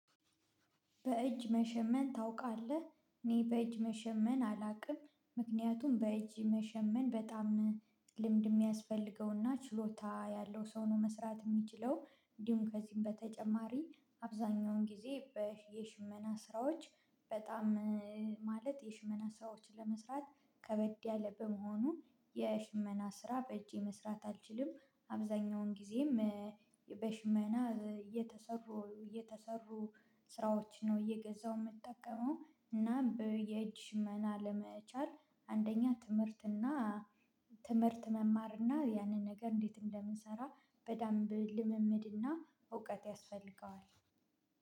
በእጅ መሸመን ታውቃለህ? እኔ በእጅ መሸመን አላውቅም። ምክንያቱም በእጅ መሸመን በጣም ልምድ የሚያስፈልገውና ችሎታ ያለው ሰው ነው መስራት የሚችለው። እንዲሁም ከዚህም በተጨማሪ አብዛኛውን ጊዜ በየሽመና ስራዎች በጣም- ማለት የሽመና ስራዎችን ለመስራት ከበድ ያለ በመሆኑ የሽመና ስራ በእጄ መስራት አልችልም። አብዛኛውን ጊዜም- በሽመና እየተሰሩ እየተሰሩ- ስራዎች ነው እየገዛው የምጠቀመው። እና በየጅ ሽመና ለመቻል አንደኛ ትምህርት እና ትምህርት መማር እና ያንን ነገር እንዴት እንደምንሰራ በደንብ ልምምድ እና እውቀት ያስፈልገዋል።